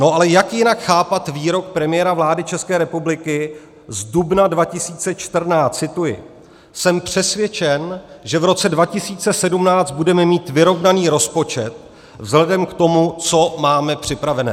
No, ale jak jinak chápat výrok premiéra vlády České republiky z dubna 2014 - cituji: "Jsem přesvědčen, že v roce 2017 budeme mít vyrovnaný rozpočet vzhledem k tomu, co máme připravené."